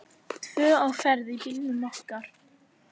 Tvö á ferð í bílnum okkar.